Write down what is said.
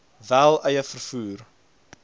wel eie vervoer